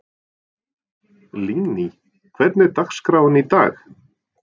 Lingný, hvernig er dagskráin í dag?